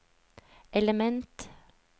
element